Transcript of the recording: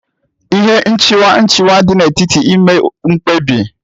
Ihe nchịkwa nchịkwa dị n'etiti ime mkpebi.